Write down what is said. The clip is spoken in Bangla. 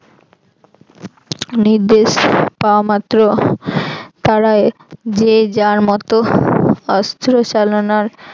নির্দেশ পাওয়া মাত্র তারা যে যার মত অস্ত্র চালনার